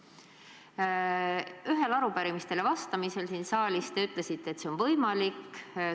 Siin saalis ühele arupärimisele vastates te ütlesite, et see on võimalik.